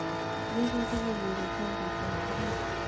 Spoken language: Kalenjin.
nyoo kebe kenyorun chanjoitab korona